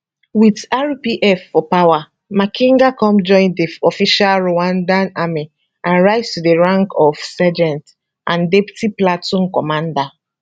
wit rpf for power makenga come join di official rwandan army and rise to di rank of sergeant and deputy platoon commander